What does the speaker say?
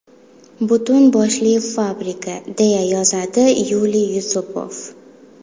Butun boshli fabrika”, deya yozadi Yuliy Yusupov.